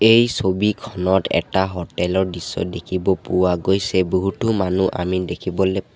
এই ছবিখনত এটা হোটেল ৰ দৃশ্য দেখিব পোৱা গৈছে বহুতো মানুহ আমি দেখিবলৈ পাওঁ।